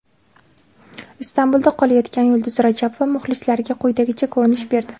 Istanbulda qolayotgan Yulduz Rajabova muxlislariga quyidagicha ko‘rinish berdi.